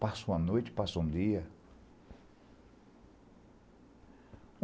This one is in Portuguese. Passa uma noite, passa um dia.